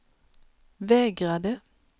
vägrade